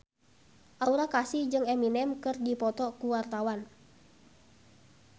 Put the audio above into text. Aura Kasih jeung Eminem keur dipoto ku wartawan